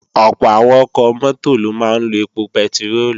Ọ̀pọ̀ àwọn ọkọ̀ mọ́tò ló máa ń lo èpò pẹtiróòlù